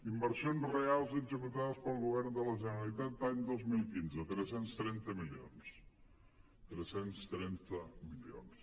inversions reals executades pel govern de la generali·tat any dos mil quinze tres cents i trenta milions tres cents i trenta milions